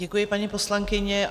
Děkuji, paní poslankyně.